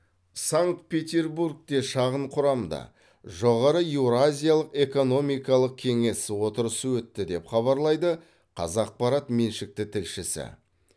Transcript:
санкт петербургте шағын құрамда жоғары еуразиялық экономикалық кеңес отырысы өтті деп хабарлайды қазақпарат меншікті тілшісі